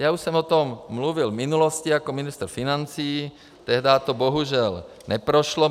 Já už jsem o tom mluvil v minulosti jako ministr financí, tehdy to bohužel neprošlo.